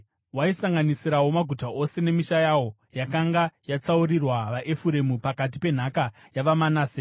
Waisanganisirawo maguta ose nemisha yawo yakanga yakatsaurirwa vaEfuremu pakati penhaka yavaManase.